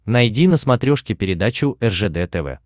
найди на смотрешке передачу ржд тв